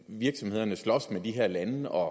virksomhederne slås med de her lande og